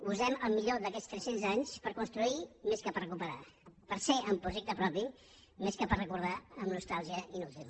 usem el millor d’aquests tres cents anys per construir més que per recuperar per ser amb projecte propi més que per recordar amb nostàlgia inútil